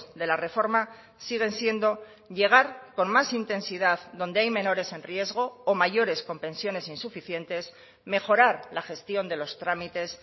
de la reforma siguen siendo llegar con más intensidad donde hay menores en riesgo o mayores con pensiones insuficientes mejorar la gestión de los trámites